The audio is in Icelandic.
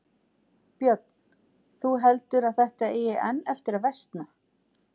Björn: Þú heldur að þetta eigi enn eftir að versna?